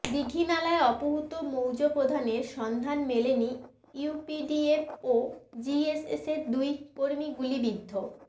দীঘিনালায় অপহূত মৌজাপ্রধানের সন্ধান মেলেনি ইউপিডিএফ ও জেএসএসের দুই কর্মী গুলিবিদ্ধ